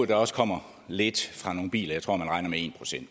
der også kommer lidt fra nogle biler jeg tror man regner med en procent